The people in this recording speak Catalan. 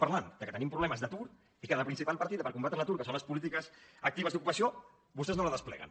parlem que tenim problemes d’atur i la principal partida per combatre l’atur que són les polítiques actives d’ocupació vostès no la despleguen